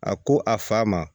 A ko a fa ma